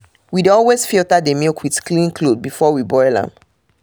we dey always filter the milk with clean cloth before we boil am